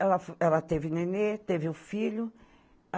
Ela ela teve nenê, teve o filho.